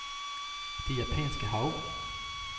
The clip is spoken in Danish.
Det Japanske Hav